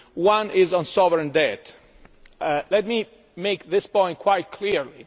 One is on sovereign debt. Let me make this point quite clearly.